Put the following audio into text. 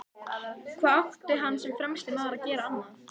Hvað átti hann sem fremsti maður að gera annað?